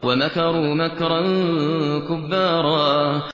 وَمَكَرُوا مَكْرًا كُبَّارًا